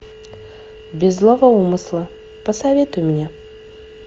без злого умысла посоветуй мне